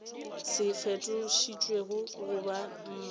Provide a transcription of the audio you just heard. se fetošitšwego go ba maknete